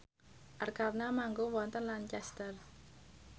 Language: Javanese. Arkarna manggung wonten Lancaster